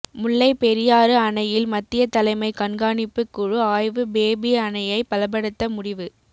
முல்லைப் பெரியாறு அணையில் மத்திய தலைமை கண்காணிப்புக் குழு ஆய்வு பேபி அணையை பலப்படுத்த முடிவு